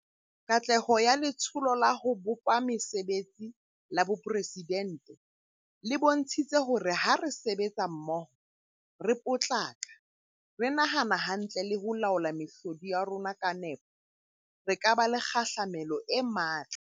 Katleho ya Letsholo la ho bopa Mesebetsi la Boporesi dente le bontshitse hore ha re sebetsa mmoho, re potlaka, re nahana hantle le ho laola mehlodi ya rona ka nepo, re ka ba le kgahlamelo e matla.